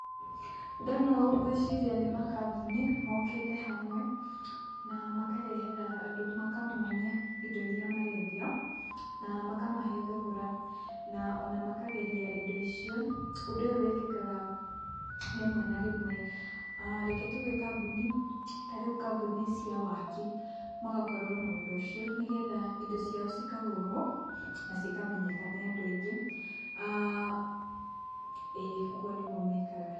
Ndona ũũ ngwĩciria nĩ makambuni mokĩte hamwe na makarehera andũ na makamonia indo iria marendia, na makamahe thogora na ona makageria indo icio. Ũndũ ũyũ wĩkĩkaga rĩmwe na rĩmwe, reke tuge kambuni, ta rĩu kambuni cia waaki magakorwo na ũndũ ũcio, nĩgetha indo ciao ikagũrwo na cikamenyeka nĩ andũ aingĩ, ĩĩ ũguo nĩguo mekaga.